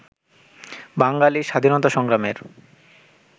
বাঙালি স্বাধীনতা সংগ্রামের